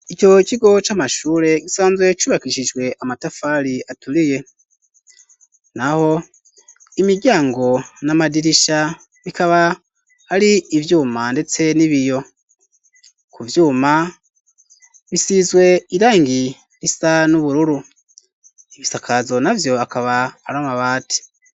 Ico kigo c'amashure gisanzwe cubakishijwe amatafari aturiye na ho imiryango n'amadirisha bikaba ari ivyuma, ndetse n'ibiyo ku vyuma bisizwe irangi risa n'ubururu ibisakazo na vyo ak ba aramabati.